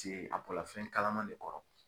Paseke a kola fɛn kalama de kɔrɔ.